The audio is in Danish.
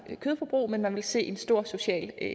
kødforbrug men man vil se en stor social